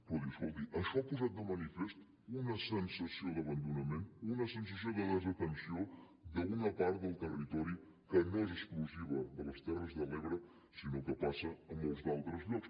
però escolti això ha posat de manifest una sensació d’abandonament una sensació de desatenció d’una part del territori que no és exclusiva de les terres de l’ebre sinó que passa a molts altres llocs